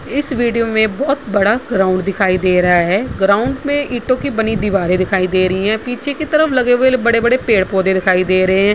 इस वीडियो में बहुत बड़ा ग्राउंड दिखाई दे रहा है। ग्राउंड में ईटों की बनी दिवारें दिखाई दे रहीं हैं। पीछे की तरफ लगे हुए बड़े-बड़े पेड़-पौधे दिखाई दे रहें हैं।